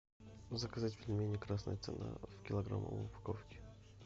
заказать пельмени красная цена в килограммовой упаковке